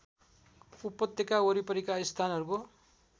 उपत्यका वरिपरिका स्थानहरूको